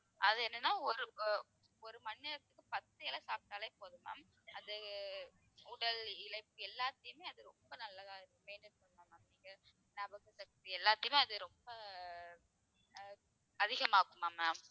அது என்னன்னா ஒரு அஹ் ஒரு மணி நேரத்துக்கு பத்து இலை சாப்பிட்டாலே போதும் ma'am அது உடல் இளைப்பு எல்லாத்தையுமே அது ரொம்ப நல்லதா maintain பண்ணும் ma'am நீங்க ஞாபகசக்தி எல்லாத்தையுமே அது ரொம்ப அஹ் அதிகமாக்குமாம் ma'am